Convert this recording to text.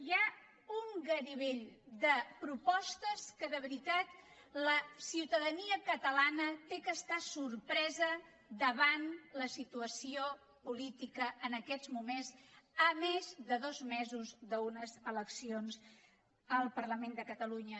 hi ha un garibell de propostes que de veritat la ciutadania catalana ha d’estar sorpresa davant la situació política en aquests moments a més de dos mesos d’unes eleccions al parlament de catalunya